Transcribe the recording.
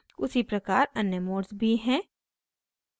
उसी प्रकार अन्य मोड्स भी हैं